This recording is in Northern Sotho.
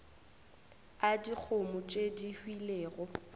a dikgomo tše di hwilego